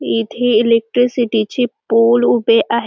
येथे इलेकट्रीसिटी चे पोल उभे आहे.